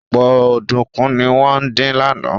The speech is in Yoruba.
Ọ̀pọ̀ ọ̀dùnkún ni wọ́n dín lánàá